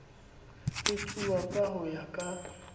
etsuwa ka ho ya ka